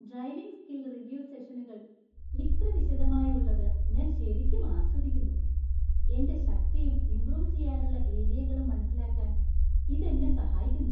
Driving skill review സെഷനുകൾ ഇത്ര വിശദമായി ഉള്ളത് ഞാൻ ശരിക്കും ആസ്വദിക്കുന്നു; എന്‍റെ ശക്തിയും, ഇമ്പ്രൂവ് ചെയ്യാനുള്ള ഏരിയകളും മനസ്സിലാക്കാൻ ഇത് എന്നെ സഹായിക്കുന്നു.